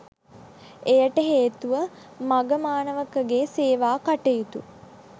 එයට හේතුව මඝ මාණවකගේ සේවා කටයුතු